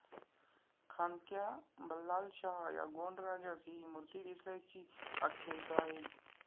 खांद्क्या बल्लालशाह या गोंड राजास ही मूर्ती दिसल्याची आख्यायिका आहे.